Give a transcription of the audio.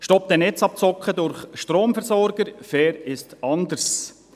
«Stopp der Netzabzocke durch Stromversorger – Fair ist anders!»